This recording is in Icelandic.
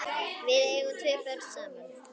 Við eigum tvö börn saman.